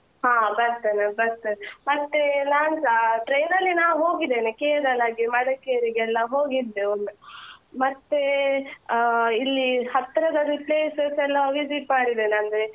ಹಾ ಬರ್ತೇನೆ ಬರ್ತೇನೆ, ಮತ್ತೆ ನಾನ್ಸ train ನಲ್ಲಿ ನಾ ಹೋಗಿದ್ದೇನೆ ಕೇರಳಗೆ, ಮಡಿಕೇರಿಗೆ ಎಲ್ಲ ಹೋಗಿದ್ದೆ ಒಮ್ಮೆ ಮತ್ತೆ ಆ ಇಲ್ಲಿ ಹತ್ತಿರದ places ಎಲ್ಲ visit ಮಾಡಿದ್ದೇನೆ ಅಂದ್ರೆ beaches ಇದೆ ಅಲ್ಲ ಆ Kapu beach , Padubidri beach , Malpe beach ಮತ್ತೆ ದೇವಸ್ಥಾನ ಎಲ್ಲಾ visit ಮಾಡಿದ್ದೇನೆ ಇದೂ ಆ ಉಡುಪಿ ಕೃಷ್ಣ ಮಠ, ಮತ್ತೆ ಉಚ್ಚಿಲ temple ಲೆಲ್ಲ ಹಾಗೆ. ನೀವ್ ನಿಮ್ಮ local places ಯಾವ್ದೆಲ್ಲ visit ಮಾಡಿದ್ದೀರಿ?